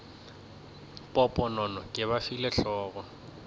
poponono ke ba file hlogo